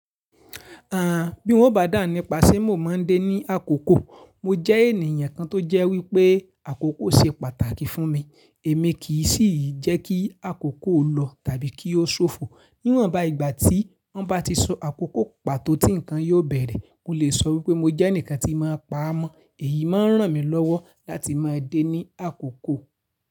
Àn, bí n o bá dàhun nípa sẹ̀ mo máa ń dé ní àkókò, mo jẹ́ ènìyàn kan tó jẹ́ wípé àkókò ṣe pàtàkì fún mi. Èmi kì í sì jẹ́ kí àkókò lọ tàbí kí ó ṣófo. Níwọ́n bá ìgbà tí wọ́n bá ti so àkókò pàtó tí nǹkan yóò bẹ̀rẹ̀, mo le sọ wípé mo jẹ́ ẹnìkan tí í máa pa ámọ́. Èyí máa ń ràn mí lọ́wọ́ láti máa dé ní àkókò.